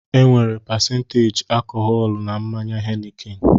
Enwere pasenteji alkọhọlu na mmanya Henikin